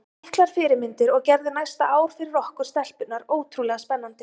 Miklar fyrirmyndir og gerðu næsta ár fyrir okkur stelpurnar ótrúlega spennandi.